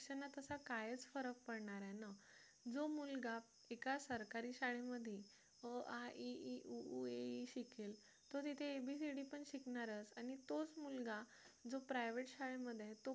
कायच फरक पडणार आहे ना जो मुलगा एका सरकारी शाळेमध्ये अ आ इ ई उ ऊ ए ए शिकेल तो तिथे abcd पण शिकणारच आणि तोच मुलगा जो private शाळेमध्ये आहे तो पण